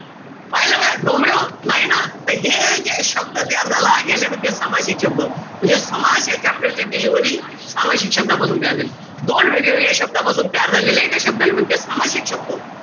पाहिलं काय? डोमड्याहो? नाई न? त हे जे शब्द तयार झाला, याले म्हणते सामासिक शब्द. म्हणजे समास या chapter ची delivery सामासिक शब्दापासून तयार झाली. दोन वेगळ्या-वेगळ्या शब्दांपासुन तयार झालेल्या एका शब्दाले म्हणते सामासिक शब्द.